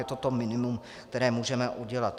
Je to to minimum, které můžeme udělat.